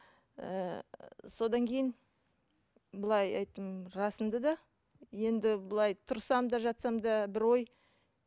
ііі содан кейін былай айттым жасымды да енді былай тұрсам да жатсам да бір ой